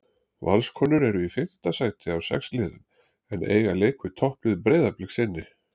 Valskonur eru í fimmta sæti af sex liðum en eiga leik við topplið Breiðabliks inni.